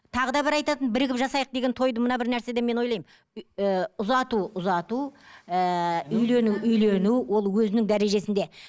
тағы да бір айтатын бірігіп жасайық деген тойды мына бір нәрседен мен ойлаймын ііі ұзату ұзату ыыы үйлену үйлену ол өзінің дәрежесінде